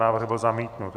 Návrh byl zamítnut.